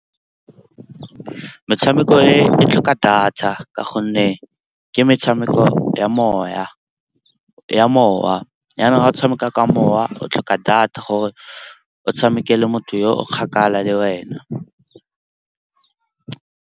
Metshameko e tlhoka data ka gonne ke metshameko ya mowa. Jaanong ga o tshameka ka mowa o tlhoka data gore o tshamekele motho yo o kgakala le wena.